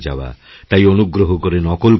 তাই অনুগ্রহ করে নকলকরো না